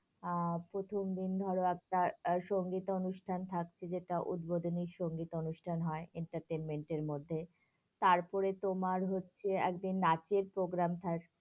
আহ প্রথম দিন ধরো একটা সংগীত অনুষ্ঠান থাকছে, যেটা উদ্বোধনী সংগীত অনুষ্ঠান হয় entertainment এর মধ্যে, তারপরে তোমার হচ্ছে একদিন নাচের programme থাকছে,